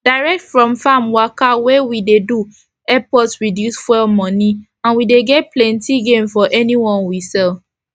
direct from farm waka wey we dey do dey epp us reduce fuel money and we dey get plenti gain for anyone we sell